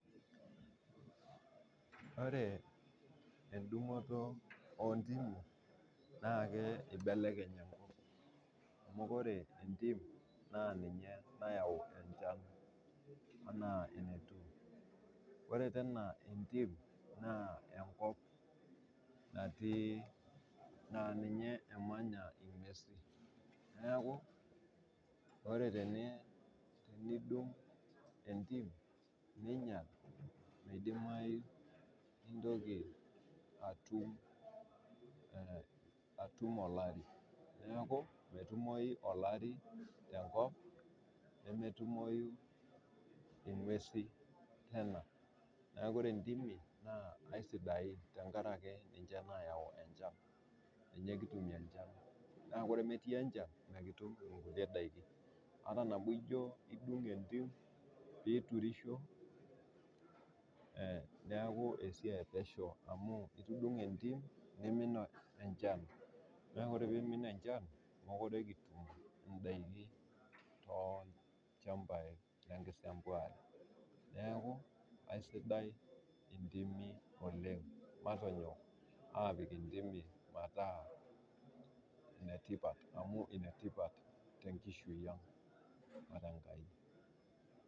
Ore endung'oto oo intimi naa keibelekeny enkop, amu kore entim naa niniye nayau enchan anaa netiu, ore tena entim na enkop natii naa ninye emanya unguesi, naaku ore tenidung' entim ninyal, meidimai nintoki atum olari, naakumetumoi olari te nkop, nemetumoi inguesi teena. Naaku ore entimi naaku esidain tengaraki ninche nayau enchan, ninche kitumie enchan, naaku ore emetii enchan, mikitum nkule daki, aten ake ijo idung' entim piiturisho, neaku esiai e pesheu amuu itudung'o entim neimin enchan, naaku ore peimin enchaki mekore kitum indaki too ilchambai le nkisembuare naaku aisidai entimi oleng, matonyok aapik intimi mataa netipat amuu enetipat te nkishui aang' o te enkai.